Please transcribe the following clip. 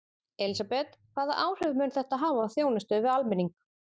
Elísabet, hvaða áhrif mun þetta hafa á þjónustu við almenning?